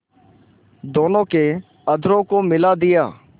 दोनों के अधरों को मिला दिया